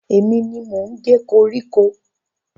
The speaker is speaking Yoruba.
Èmi ni mò ń ge koríko.